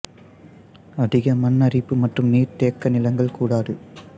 அதிக மண் அரிப்பு மற்றும் நீர் தேக்க நிலங்கள் கூடாது